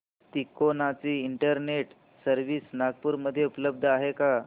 तिकोना ची internet service Nagpur मध्ये उपलब्ध आहे का